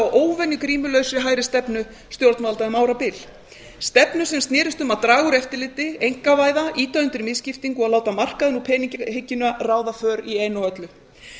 óvenju grímulausri hægristefnu stjórnvalda um árabil stefnu sem snerist um að draga úr eftirliti einkavæða ýta undir misskiptingu og láta markaðinn og peningahyggjuna ráða för í einu og öllu